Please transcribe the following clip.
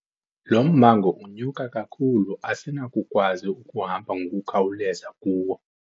Lo mmango unyuka kakhulu asinakukwazi ukuhamba ngokukhawuleza kuwo.